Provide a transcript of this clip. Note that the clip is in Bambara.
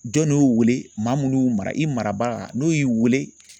Jɔn de y'u wele maa minnu y'u mara i marabaga n'o y'i wele